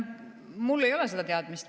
Mul ei ole seda teadmist.